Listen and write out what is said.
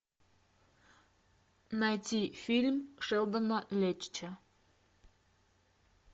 найти фильм шелдона леттича